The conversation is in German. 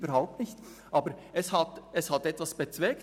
Aber wir haben etwas bezweckt: